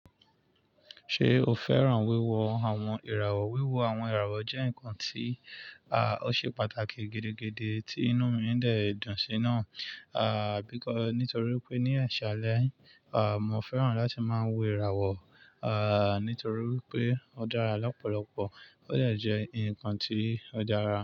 Ṣé o fẹ́ràn wíwo àwọn ìràwọ̀? Wíwo àwọn ìràwọ̀ jẹ́ nǹkan tí, à, ó ṣe pàtàkì gidi gidi tí inú mi ń dẹ̀ dùn sí náà, à, bí k-- nítorí pé ní àṣálẹ́, à, mo fẹ́ràn láti máa wo ìràwọ̀, à, nítorí pé ó dára lọ́pọ̀lọpọ̀, ó de jẹ́ ǹkan tí ó dára.